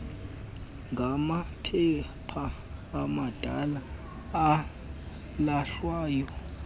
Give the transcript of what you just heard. ngamaphepha amadala alahlwayo